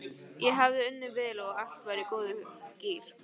Ég hafði unnið vel og allt var í góðum gír.